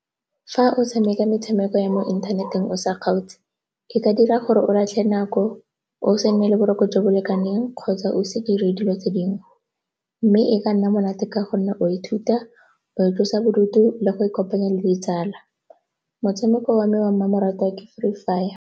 Fa o tshameka metshameko ya mo inthaneteng o sa kgaotse, e ka dira gore o latlhe nako, o se nne le boroko jo bo lekaneng kgotsa o se dire dilo tse dingwe mme e ka nna monate ka gonne o ithuta go itlosa bodutu le go ikopanya le ditsala. Motshameko wa me wa mmamoratwa ke Free Fire.